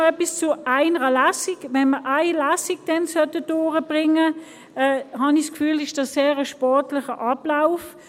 Dann noch etwas zu nur einer Lesung: Wenn wir es in nur einer Lesung durchbringen sollten, wäre dies für mein Gefühl ein sehr sportlicher Ablauf.